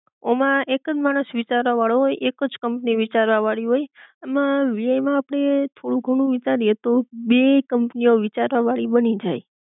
ઑમાં એકજ માણસ વિચારવાવાળો હોય, એકજ કંપની વિચારવા વાળી હોય એમા વીઆઈ આપડે થોડું ઘણું વિચારીએ તો બે કંપનીઑ વિચારવા વાળી બની જાય